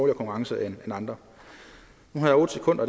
i konkurrencen end andre nu har jeg otte sekunder